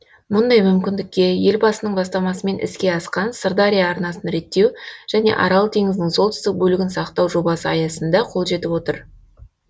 мұндай мүмкіндікке елбасының бастамасымен іске асқан сырдария арнасын реттеу және арал теңізінің солтүстік бөлігін сақтау жобасы аясында қол жетіп отыр